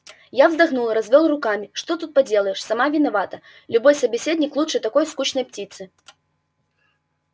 я вздохнул развёл руками что уж тут поделаешь сама виновата любой собеседник лучше такой скучной птицы